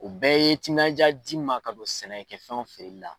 O bɛɛ ye timinanja di n ma ka don sɛnɛkɛfɛnw feereli la.